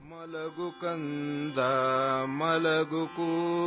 Jojo...jo